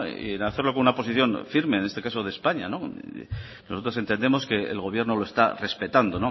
y hacerlo con una posición firme en este caso de españa nosotros entendemos que el gobierno lo está respetando